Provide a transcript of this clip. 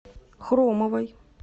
хромовой